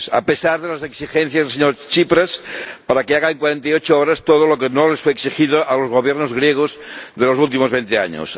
a pesar de las exigencias al señor Tsipras para que haga en cuarenta y ocho horas todo lo que no les fue exigido a los Gobiernos griegos de los últimos veinte años